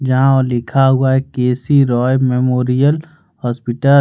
जहां लिखा हुआ है K C Roy memorial hospital --